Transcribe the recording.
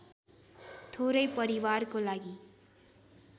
थोरै परिवारको लागि